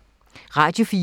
Radio 4